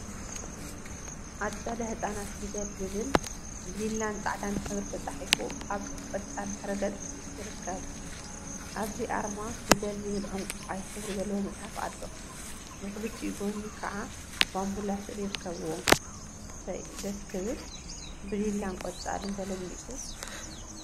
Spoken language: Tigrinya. አፀደ ህፃና ፊደል ዝብል ብሊላን ፃዕዳን ሕብሪ ተፃሒፉ አብ ቆፃል ድሕረ ገፅ ይርከብ፡፡ አብዚ አርማ ፊደል ዝብል ዕንቋይ ሕብሪ ዘለዎ መፅሓፍ አሎ፡፡ ብክልቲኡ ጎኒ ከዓ ባምቡላ ስእሊ ይርከቡዎም፡፡ እሰይ! ደስ ክብል ብሊላን ቆፃልን ተለሚፁ ፡፡